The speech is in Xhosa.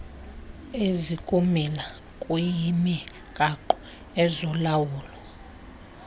ezikumila kuyimigaqo ezolawulo